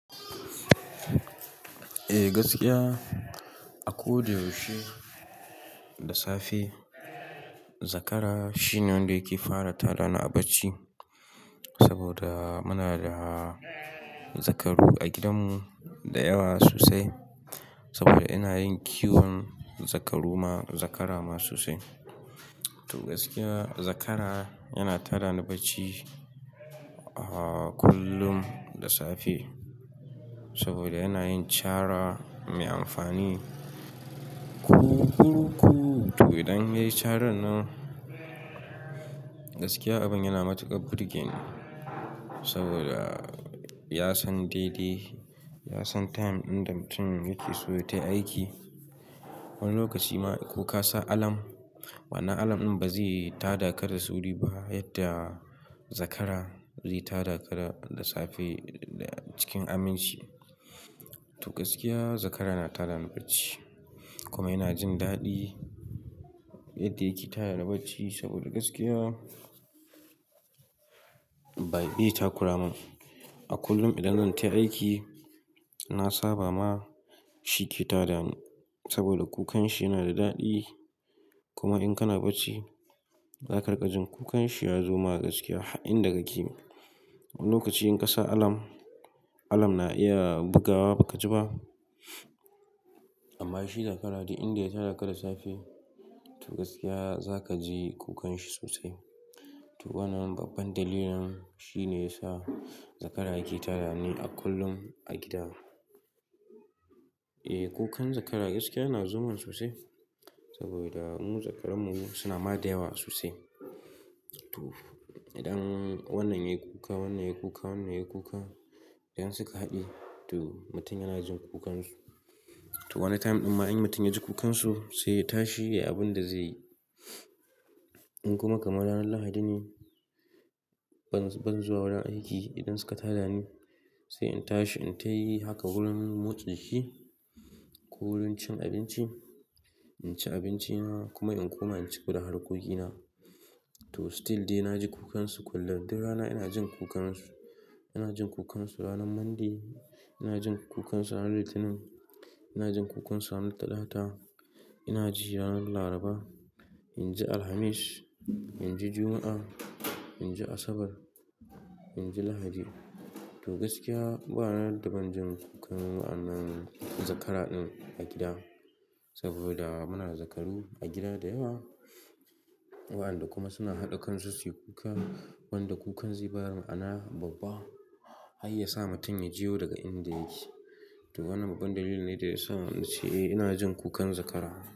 Eh gaskiya a ko da yaushe da safe zakara shine wanda yake fara tada ni a bacci. Saboda muna da zakaru a gidanmu da yawa sosai saboda ina yin kiwon zakaru ma zakara ma sosai. To gaskiya zakara yana tada ni bacci ah kullum da safe saboda yana yin cara mai amfani. Ku kurku to idan yayi caran nan, gaskiya abin yana matuƙa burgeni. Saboda ya san daidai, ya san time dinda mutum yake so ya tai aiki. Wani lokaci ma ko ka sa alam, wannan alam ɗin ba zai tada ka da sauri ba yadda zakara zai tada ka da safe cikin aminci. To gaskiya zakara yana tada ni bacci kuma yana jin daɗi yadda yake tada ni bacci saboda gaskiya bai be ta kuramun. A kullum idan zan tai aiki, na saba ma shi ke tada ni saboda kukan shi yana da daɗi. Kuma in kana bacci, za ka riƙa jin kukan shi ya zo ma gaskiya har inda kake. Wani lokaci in ka sa alarm, alarm na iya bugawa ba ka ji ba. Amma shi zakara duk inda ya tada ka da safe to gaskiya za ka ji kukan shi sosai. To wannan babban dalilin shine yasa zakara yake tada ni a kullum a gida. Eh kukan zakara gaskiya yana zo mun sosai saboda mu zakarunmu suna ma da yawa sosai. To idan wannan yayi kuka, wannan yayi kuka, wannan yayi kuka idan suka haɗe to mutum yana jin kukansu. To wani time ɗin ma in mutum ya ji kukansu sai ya tashi yayi abin da zaiyi in kuma kamar ranar lahadi ne ban zuwa wurin aiki idan suka tada ni sai in tashi in tai haka wurin motsa shi ko wurin cin abinci, inci abinci kuma in koma inci kudan harkokina. To still dai na ji kukansu kullum. Duk rana ina jin kukansu, ina jin kukansu ranar mande, ina jin kukansu ranar litinin, ina jin kukansu ranar talata, ina ji ranar laraba, inji alhamis, inji juma'a, inji asabar, inji lahadi. To gaskiya ranar daban jin kukan wannan zakara ɗin a gida saboda muna da zakaru a gida da yawa. Waƴanda kuma suna haɗa kansu su yi kuka, wanda kukan zai bada ma'ana babba har ya sa mutum ya jiyo daga inda yake. To wannan babban dalilin ne da ya sa na ce eh ina jin kukan zakara.